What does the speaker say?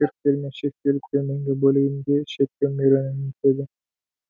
цирктермен шектеліп төменгі бөлігінде шеткі миренамен бітеді